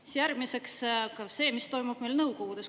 Siis järgmiseks tuleb see, mis toimub meil nõukogudes.